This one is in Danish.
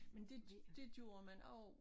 Men det det gjorde man også